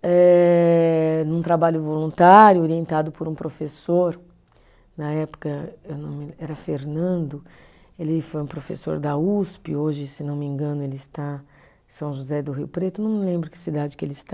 eh num trabalho voluntário orientado por um professor, na época era Fernando, ele foi um professor da Usp, hoje, se não me engano, ele está em São José do Rio Preto, não me lembro que cidade que ele está.